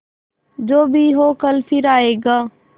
जो भी हो कल फिर आएगा